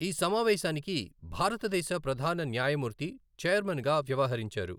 ఈ సమావేశానికి భారతదేశ ప్రధాన న్యాయమూర్తి చెైర్మన్ గా వ్యవహరించారు.